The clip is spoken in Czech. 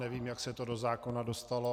Nevím, jak se to do zákona dostalo.